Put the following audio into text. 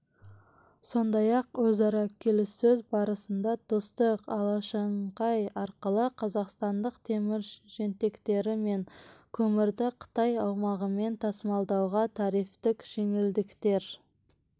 сондай-ақ өзара келіссөз барысында достық-алашаңқай арқылы қазақстандық темір жентектері мен көмірді қытай аумағымен тасымалдауға тарифтік жеңілдіктер